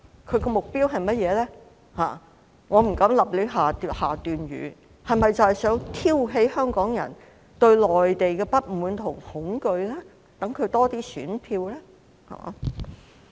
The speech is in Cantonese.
我不敢胡亂判斷，他是否想挑起香港人對內地的不滿和恐懼，好讓他得到多些選票呢？